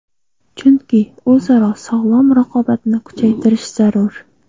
Chunki o‘zaro sog‘lom raqobatni kuchaytirish zarur.